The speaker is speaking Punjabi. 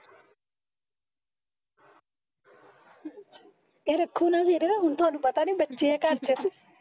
ਕਹਿ ਰੱਖੋ ਨਾ ਫਿਰ ਹੁਣ ਥੋਨੂੰ ਪਤਾ ਨੀ ਬੱਚੇ ਆ ਘਰ ਚ